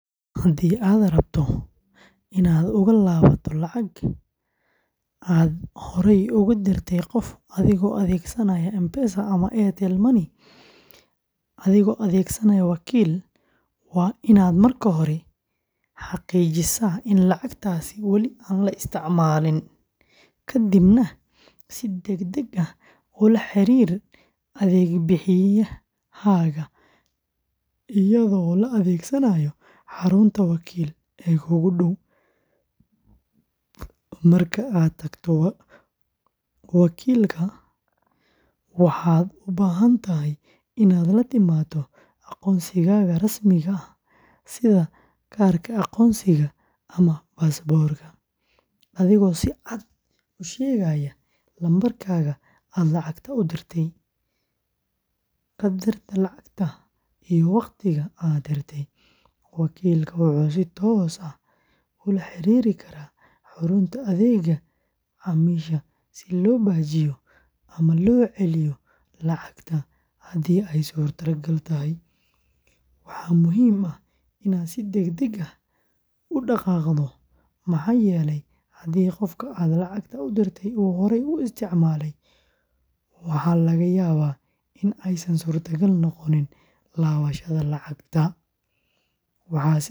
Haddii aad rabto inaad uga laabato lacag aad horey ugu dirtay qof adigoo adeegsanaya M-Pesa and Airtel Money adigoo adeegsanaya wakiil, waa inaad marka hore xaqiijisaa in lacagtaasi wali aan la isticmaalin, kadibna si degdeg ah ula xiriir adeeg bixiyahaaga iyadoo la adeegsanayo xarunta wakiil ee kuugu dhow. Marka aad tagto wakiilka, waxaad u baahan tahay inaad la timaado aqoonsigaaga rasmiga ah sida kaarka aqoonsiga ama baasaboorka, adigoo si cad u sheegaya lambarka aad lacagta u dirtay, qadarka lacagta, iyo waqtiga aad dirtay. Wakiilka wuxuu si toos ah ula xiriiri karaa xarunta adeegga macaamiisha si loo baajiyo ama loo celiyo lacagta haddii ay suurtagal tahay. Waxaa muhiim ah inaad si degdeg ah u dhaqaaqdo maxaa yeelay haddii qofka aad lacagta u dirtay uu horey u isticmaalay, waxaa laga yaabaa in aysan suurtagal noqon laabashada lacagta.